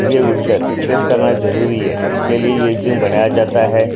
सुबह उठकर एक्सेस करना जरूरी है इसके लिए ये जूम बनाया जाता है।